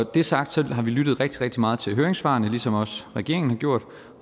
det er sagt har vi lyttet rigtig rigtig meget til høringssvarene ligesom også regeringen har gjort